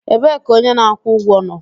Ebee ka onye na-akwụ ụgwọ nọ?